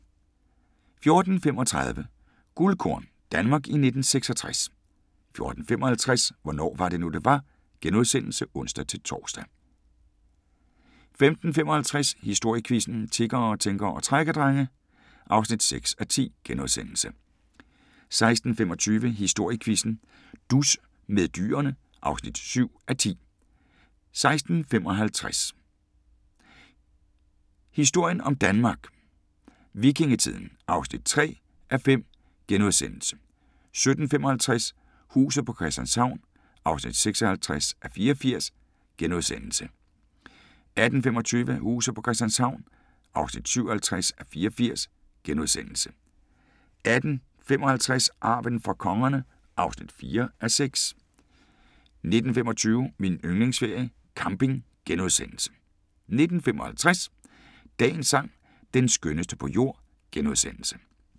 14:35: Guldkorn – Danmark i 1966 14:55: Hvornår var det nu, det var? *(ons-tor) 15:55: Historiequizzen: Tiggere, tænkere og trækkerdrenge (6:10)* 16:25: Historiequizzen: Dus med dyrene (7:10) 16:55: Historien om Danmark: Vikingetiden (3:5)* 17:55: Huset på Christianshavn (56:84)* 18:25: Huset på Christianshavn (57:84)* 18:55: Arven fra kongerne (4:6)* 19:25: Min yndlingsferie: Camping * 19:55: Dagens sang: Den skønneste på jord *